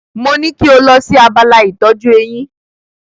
Mo ní kí o lọ sí abala ìtọ́jú eyín.